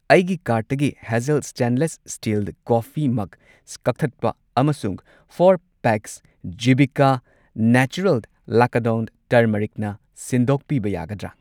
ꯑꯩꯒꯤ ꯀꯥꯔꯠꯇꯒꯤ ꯍꯦꯓꯜ ꯁ꯭ꯇꯦꯟꯂꯦꯁ ꯁ꯭ꯇꯤꯜ ꯀꯣꯐꯤ ꯃꯒ ꯀꯛꯊꯠꯄ ꯑꯃꯁꯨꯡ ꯐꯣꯔ ꯄꯦꯛꯁ ꯖꯤꯚꯤꯀꯥ ꯅꯦꯆꯔꯦꯜ ꯂꯀꯥꯗꯣꯟ ꯇꯔꯃꯔꯤꯛꯅ ꯁꯤꯟꯗꯣꯛꯄꯤꯕ ꯌꯥꯒꯗ꯭ꯔꯥ?